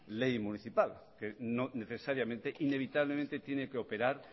ley municipal que no necesariamente inevitablemente tiene que operar